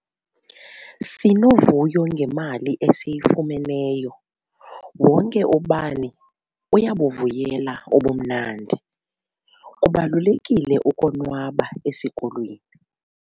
Sinovuyo ngemali esiyifumeneyo. wonke ubani uyabuvuyela ubumnandi, kubalulekile ukonwaba esikolweni